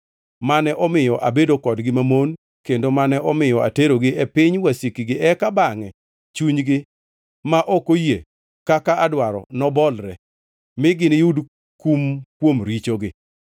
mane omiyo abedo kodgi mamon kendo mane omiyo aterogi e piny wasikgi, eka bangʼe chunygi ma ok oyie kaka adwaro nobolre, mi giniyud kum kuom richogi,